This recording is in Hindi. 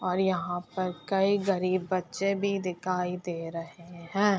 और यहाँ पर कई गरीब बच्चे भी दिखाई दे रहे है।